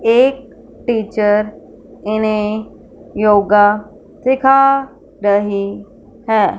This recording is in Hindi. एक टीचर इन्हे योगा सीखा रहे है।